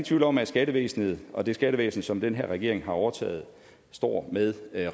tvivl om at skattevæsenet og det skattevæsen som den her regering har overtaget står med